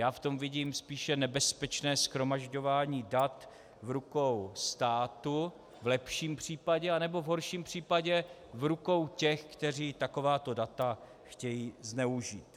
Já v tom vidím spíše nebezpečné shromažďování dat v rukou státu, v lepším případě, anebo v horším případě v rukou těch, kteří takováto data chtějí zneužít.